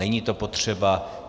Není to potřeba.